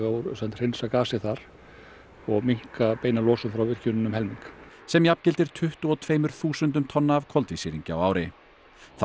hreinsa gasið þar og minnka beina losun frá virkjuninni um helming sem jafngildir tuttugu og tveimur þúsundum tonna af koltvísýringi á ári þá